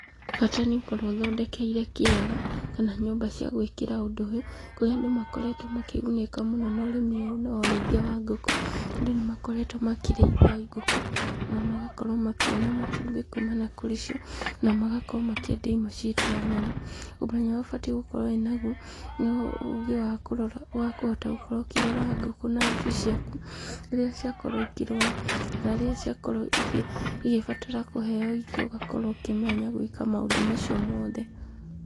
Bata nĩ ũkorwo ũthondekeire kĩaga, kana nyumba cia gwĩkĩra ũndũ ũyũ, kũrĩa andũ makoretwo makĩgunĩka mũno na ũrĩmi ũyũ, nĩguo ũrĩithia wa ngũkũ, andũ nĩmakoretwo makĩrĩithia ngũkũ na magakorwo makĩona matumbĩ kumana na kũrĩ cio , na magakorwo makendia imwe cita nyama, ũmenyo ũrĩa ũbatiĩ gũkorwo naguo, no ũgĩ wa kũhota gũkorwo ũkĩrora ngũkũ na njui ciaku, rĩrĩa ciakorwo ikĩrua, kana rĩrĩa ciakorwo igĩ igĩbatara kũheo irio , ũgakorwo ũkĩmenya gwĩka maũndũ macio mothe.